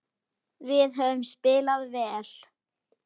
Við höfum spilað vel.